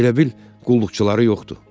Elə bil qulluqçuları yoxdur.